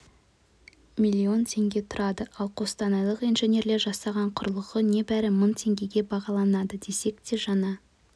миллион тенге тұрады ал қостанайлық инженерлер жасаған құрылғы небәрі мың тенгеге бағаланды десек те жаңа